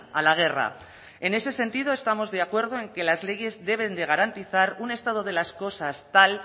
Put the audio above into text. a la guerra en ese sentido estamos de acuerdo en que las leyes deben garantizar un estado de las cosas tal